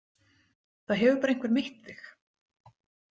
Það hefur bara einhver meitt þig.